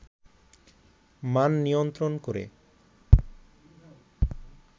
মান নিয়ন্ত্রণ করে